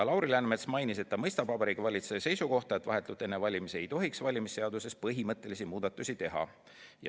Lauri Läänemets mainis, et ta mõistab Vabariigi Valitsuse seisukohta, et vahetult enne valimisi ei tohiks valimisseaduses põhimõttelisi muudatusi teha.